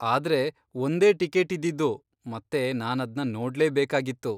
ಆದ್ರೆ ಒಂದೇ ಟಿಕೇಟಿದ್ದಿದ್ದು ಮತ್ತೆ ನಾನದ್ನ ನೋಡ್ಲೇಬೇಕಾಗಿತ್ತು.